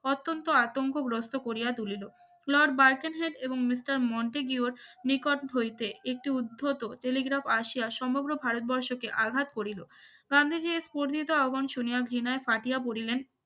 অত্যন্ত আতঙ্কগ্রস্থ করিয়া তুলিল লর্ড বারকেন হেট এবং মিস্টার মন্টি গীহর নিকট হইতে একটু উদ্ধত টেলিগ্রাফ আসিয়া সমগ্র ভারতবর্ষকে আঘাত করিল গান্ধীজীর স্ফরনীতো অবাঞ্চনীয় ঘৃণায় ফাটিয়া পড়িলেন